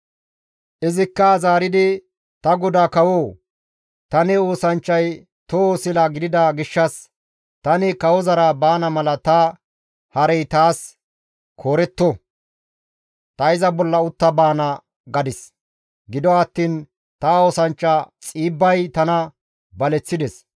Izikka zaaridi, «Ta godaa kawoo! Ta ne oosanchchay toho sila gidida gishshas, ‹Tani kawozara baana mala ta harey taas kooretto; ta iza bolla utta baana› gadis; gido attiin ta oosanchcha Xiibbay tana baleththides.